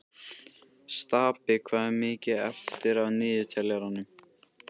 Stapi, hvað er mikið eftir af niðurteljaranum?